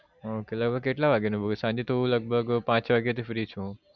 હમ કેટલા વાગે નું હું સાંજે તો લગભગ પાંચ વાગે થી free છું હું